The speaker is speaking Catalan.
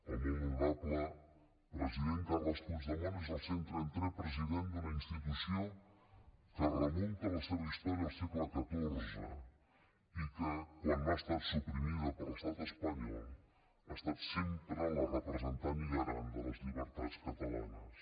el molt honorable president carles puigdemont és el cent trentè president d’una institució que es remunta la seva història al segle xiv i que quan no ha estat suprimida per l’estat espanyol ha estat sempre la representant i garant de les llibertats catalanes